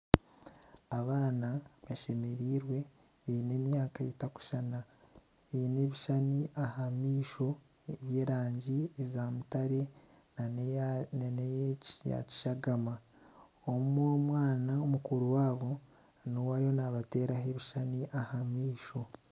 Abaana bashemereirwe baine emyaka etarikushushana, baine ebishushani aha maisho by'erangi za mutare nana eya kishagana. Omwe omwana makuru waabo niwe ariyo nabateeraho ekishushani aha maisho.